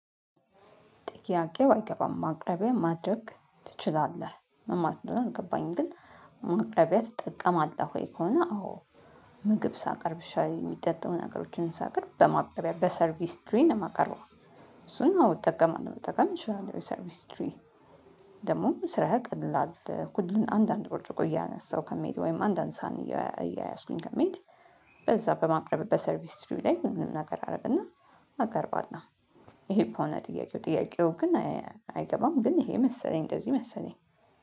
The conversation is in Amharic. ጥያቄው አይገባም ማቅረቢያ ማድረግ ትችላለህ ምን ማለት ነው? የገባኝ ግን ማቅረቢያ ትጠቀማለህ ወይ? ከሆነ አዎ። ምግብ ሳቀርብ እሺ የሚጠጣው ነገሮችን ሳቀርብ በማቅረቢያ በሰርቪስ ትሪን መቀረብ እሱን አውጥቀም አውጥቀም እችላለሁ። ሰርቪስ ትሪ ደግሞ ስራህ ያቀላል። ሁሉን አንዳንድ ብርጭቆ ያነሳው ከመሄድ ወይም አንድ አንሳ እያያዝኩኝ ከመሄድ። በዛ በማቅረብ በሰርቪስ ስትሪው ላይ ምንም ነገር አደረግና አቀርባለሁ። ይሄ ከሆነ ጥያቄው ጥያቄው ግን አይገባም ግን ይሄ መሰለኝ እንደዚህ መሰለኝ